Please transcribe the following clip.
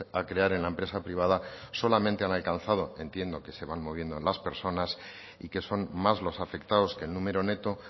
a crear en la empresa privada solamente han alcanzado entiendo que se van moviendo en las personas y que son más los afectados que el número neto